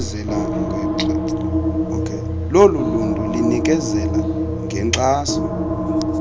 loluntu linikezela ngenkxaso